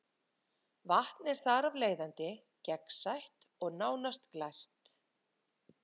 Vatn er þar af leiðandi gegnsætt og nánast glært.